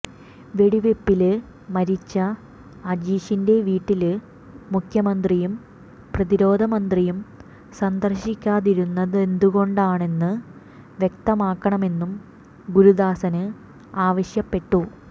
വെടിവെപ്പില് മരിച്ച അജീഷിന്റെ വീട്ടില് മുഖ്യമന്ത്രിയും പ്രതിരോധ മന്ത്രിയും സന്ദര്ശിക്കാതിരുന്നതെന്തുകൊണ്ടാണെന്ന് വ്യക്തമാക്കണമെന്നും ഗുരുദാസന് ആവശ്യപ്പെട്ടു